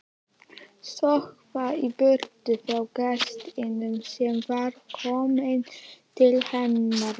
Stökkva í burtu frá gestinum sem var kominn til hennar.